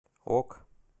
ок